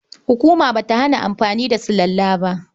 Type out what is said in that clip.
Hukuma ba ta hana amfani da sulalla ba.